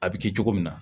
A bɛ kɛ cogo min na